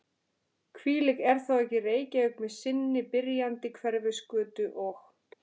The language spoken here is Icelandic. Hvílík er þá ekki Reykjavík með sinni byrjandi Hverfisgötu og